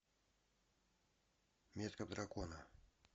метка дракона